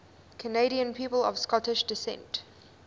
canadian people of scottish descent